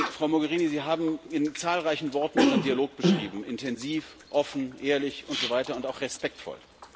Frau Mogherini, Sie haben in zahlreichen Worten unseren Dialog beschrieben intensiv, offen, ehrlich und so weiter, und auch respektvoll.